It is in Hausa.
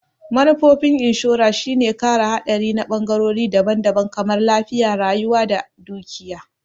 Manufofin inshora shine kare haɗari na ɓangorori daban-daban kamar lafiya, rayuwa da dukiya.